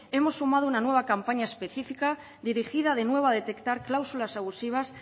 hemos sumado una nueva campaña específica dirigida de nuevo a detectar cláusulas abusivas